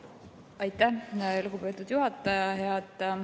Aitäh, lugupeetud juhataja!